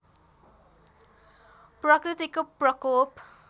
प्रकृतिको प्रकोप